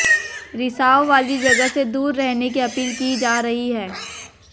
रिसाव वाली जगह से दूर रहने की अपील की जा रही है